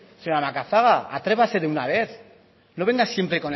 señora macazaga atrévase de una vez no venga siempre